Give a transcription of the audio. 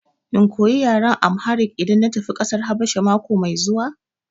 In koya yaran Amharic idan na tafi ƙasar Habasha mako mai zuwa?